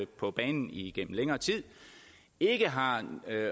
på banen igennem længere tid ikke har